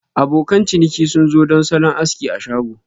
Abokan ciniki sun zo don salon aski a shago.